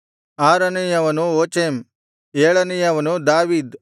ಆರನೆಯವನು ಓಚೆಮ್ ಏಳನೆಯವನು ದಾವೀದ್